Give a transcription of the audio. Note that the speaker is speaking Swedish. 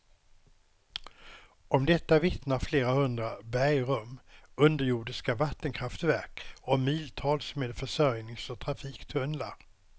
Om detta vittnar flera hundra bergrum, underjordiska vattenkraftverk och miltals med försörjnings och trafiktunnlar.